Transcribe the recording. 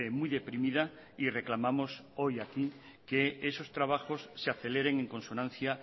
muy deprimida y reclamamos hoy aquí que esos trabajos se aceleren en consonancia